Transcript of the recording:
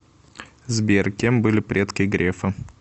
сбер кем были предки грефа